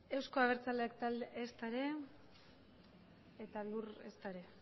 ez euzko abertzaleak taldea ezta ere